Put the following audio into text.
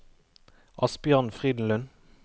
Asbjørn Frydenlund